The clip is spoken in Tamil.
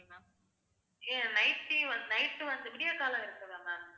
எ~ night, night வந்து விடியற்காலை இருக்குதா ma'am